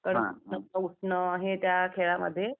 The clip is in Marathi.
उठणं हे त्या खेळामध्ये